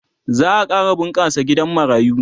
za'a ƙara bunƙasa gidan marayu